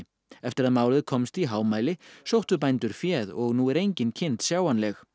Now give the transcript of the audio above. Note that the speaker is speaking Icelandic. eftir að málið komst í hámæli sóttu bændur féð og nú er engin kind sjáanleg